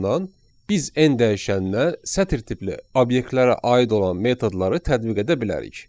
biz n dəyişənnə sətr tipli obyektlərə aid olan metodları tədbiq edə bilərik.